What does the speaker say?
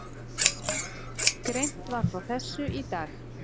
Greint var frá þessu í dag